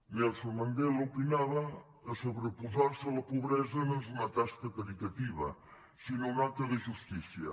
nelson mandela opinava que sobreposar se a la pobresa no és una tasca caritativa sinó un acte de justícia